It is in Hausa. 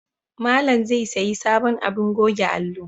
Malam zai sayi sabon abin goge alo